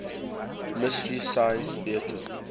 mystery science theater